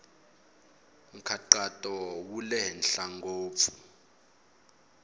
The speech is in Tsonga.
nkhaqato wa le henhla ngopfu